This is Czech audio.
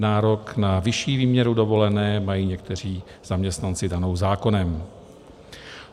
Nárok na vyšší výměru dovolené mají někteří zaměstnanci danou zákonem.